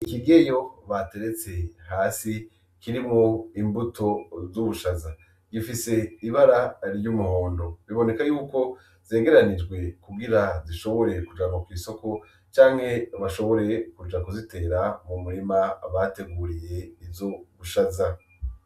Ikigeyo bateretse hasi kirimwo imbuto z'ubushaza. Gifise ibara ry'umuhondo. Biboneka yuko zegeranijwe kugira zishobore kujanwa kw'isoko canke bashobore kuka kuzitera mumurima bateguriye izo ubushaza.